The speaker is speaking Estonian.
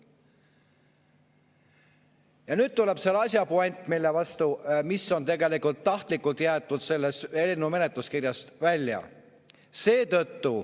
Ja nüüd tuleb selle asja puänt, mis on tegelikult tahtlikult jäetud sellest eelnõu kirjast välja.